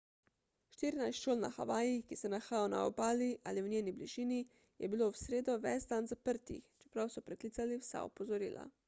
štirinajst šol na havajih ki se nahajajo na obali ali v njeni bližini je bilo v sredo ves dan zaprtih čeprav so preklicali vsa opozorila